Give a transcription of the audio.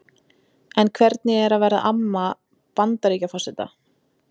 En hvernig er að vera amma Bandaríkjaforseta?